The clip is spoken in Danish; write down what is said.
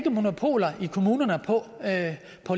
at